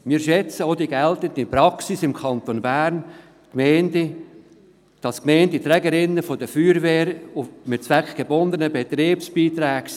Wir schätzen auch die geltende Praxis im Kanton Bern, wonach die Gemeinden Trägerinnen der Feuerwehr mit zweckgebundenen Betriebsbeiträgen sind.